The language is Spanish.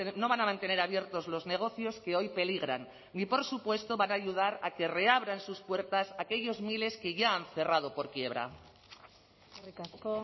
no van a mantener abiertos los negocios que hoy peligran ni por supuesto van a ayudar a que reabran sus puertas aquellos miles que ya han cerrado por quiebra eskerrik asko